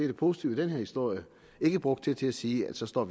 det positive i den her historie ikke brugt det til at sige at så står